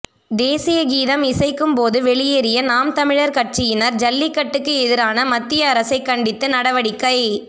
தேசிய கீதம் இசைக்கும்போது வெளியேறிய நாம் தமிழர் கட்சியினர் ஜல்லிக்கட்டுக்கு எதிரான மத்திய அரசைக் கண்டித்து நடவடிக்கை